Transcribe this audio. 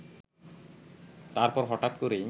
তারপর হঠাৎ করেই